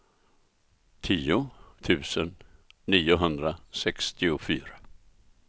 tio tusen niohundrasextiofyra